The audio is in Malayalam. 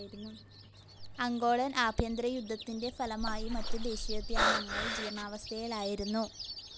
അംഗോളൻ ആഭ്യന്തര യുദ്ധത്തിൻ്റെ ഫലമായി മറ്റു ദേശീയോദ്യാനങ്ങൾ ജീർണാവസ്ഥയിലായിരുന്നു.